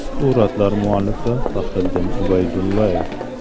Suratlar muallifi Faxriddin Ubaydullayev.